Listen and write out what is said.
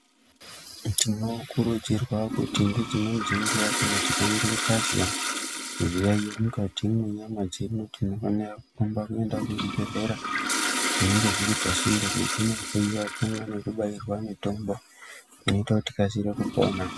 Tinokurudzirwa kuti ngedzimweni dzenguwa kana tikange tazwa zviyaeyo mukati menyama dzedu tinofanira kurumba kuenda kuchibhedhlera zvinenge zviri pasinde kuti tinohloyiwa pamwe nekubairwa mitombo inoite kuti tikasire kupona.